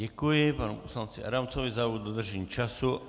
Děkuji panu poslanci Adamcovi za dodržení času.